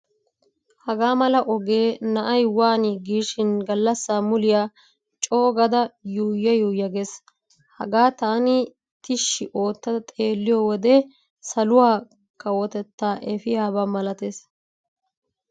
Hagaa mala ogee na'ay waani giishin gallassa muliyaa coogada yuuya yuuya gees. Hagaa taani tishshi ootta xeelliyo wode saluwaa kawotettaa efiyaba malatees.